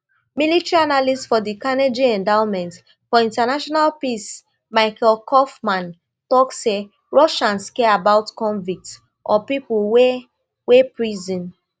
military analyst for di carnegie endowment for international peace michael kofman tok say russians care about convicts or pipo wey wey prison